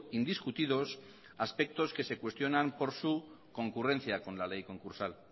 indiscutidos aspectos que se cuestionan por su concurrencia con la ley concursal